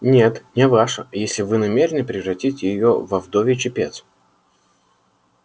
нет не ваша если вы намерены превратить её во вдовий чепец